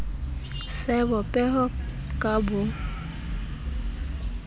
sebo peho ka b o